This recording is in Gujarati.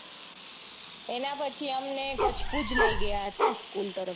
એના પછીં અમને કચ્છ ભુજ લઇ ગયા તા school તરફથી